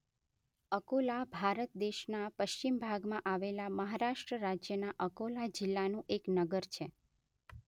અકોલા ભારત દેશના પશ્ચિમ ભાગમાં આવેલા મહારાષ્ટ્ર રાજ્યના અકોલા જિલ્લાનું એક નગર છે.